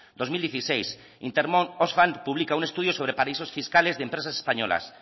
dos mil dieciséis intermon oxfan publica un estudio sobre paraísos fiscales de empresas españolas